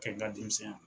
Kɛ n ka denmisɛn ya